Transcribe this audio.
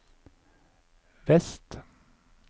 vest